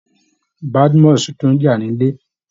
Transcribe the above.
Badmus tún ti ń jà nílé